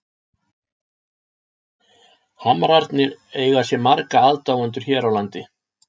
Hamrarnir eiga sér marga aðdáendur hér á landi.